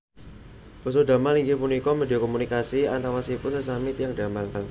Basa Damal inggih punika media komunikasi antawisipun sesami tiyang damal